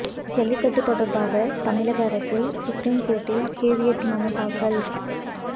ஜல்லிக்கட்டு தொடர்பாக தமிழக அரசு சுப்ரீம் கோர்ட்டில் கேவியட் மனு தாக்கல்